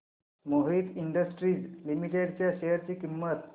Mohit industries limited च्या share ची किंमत